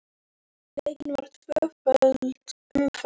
Leikin var tvöföld umferð.